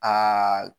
Aa